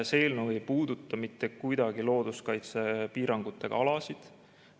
See eelnõu ei puuduta mitte kuidagi looduskaitsepiirangutega alasid.